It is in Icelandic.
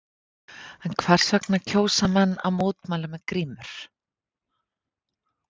En hvers vegna kjósa menn að mótmæla með grímur?